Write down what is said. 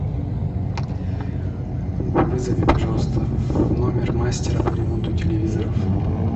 вызови пожалуйста в номер мастера по ремонту телевизоров